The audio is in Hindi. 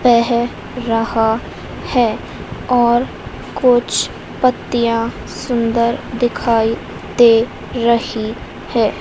बह रहा है और कुछ पत्तियां सुंदर दिखाई दे रही हैं।